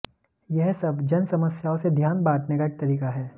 यह सब जन समस्याओं से ध्यान बांटने का एक तरीका है